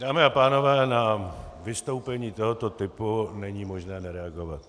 Dámy a pánové, na vystoupení tohoto typu není možné nereagovat.